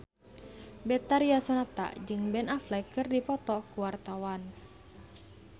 Betharia Sonata jeung Ben Affleck keur dipoto ku wartawan